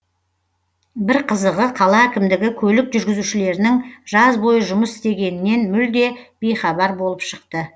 бір қызығы қала әкімдігі көлік жүргізушілерінің жаз бойы жұмыс істегенінен мүлде бейхабар болып шықты